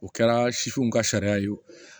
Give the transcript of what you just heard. U kɛra sifinw ka sariya ye